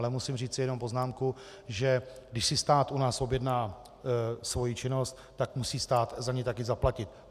Ale musím říci jenom poznámku, že když si stát u nás objedná svoji činnost, tak musí stát také za ni zaplatit.